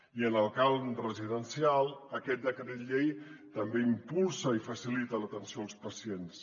i en el camp residencial aquest decret llei també impulsa i facilita l’atenció als pacients